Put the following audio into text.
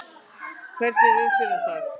Hvernig er umferðin þar?